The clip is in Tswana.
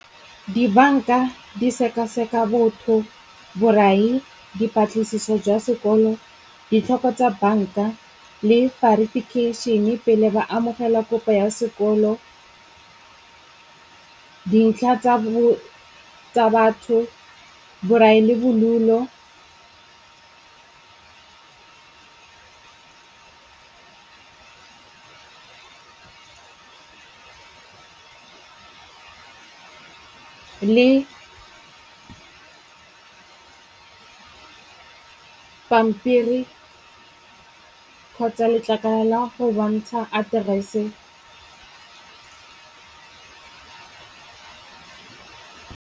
Dibanka di seka-seka botho, borai, dipatlisiso jwa sekolo, ditlhoko tsa banka le verification-e pele ba amogela kopo ya sekolo , dintlha tsa batho, borai le bodulo le pampiri kgotsa letlakala la go bontsha aterese.